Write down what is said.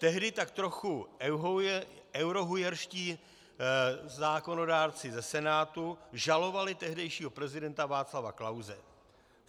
Tehdy tak trochu eurohujerští zákonodárci ze Senátu žalovali tehdejšího prezidenta Václava Klause.